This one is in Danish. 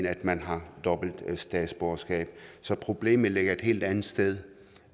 at man har dobbelt statsborgerskab så problemet her ligger et helt andet sted